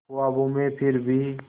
ख्वाबों में फिर भी